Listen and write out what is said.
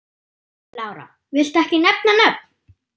Lára: Viltu ekki nefna nöfn?